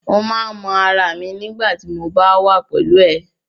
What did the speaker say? Mo máa n mọ ará mi nigbati mo ba wà pẹlú ẹ.